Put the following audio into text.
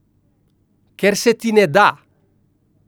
Ker se ti ne da!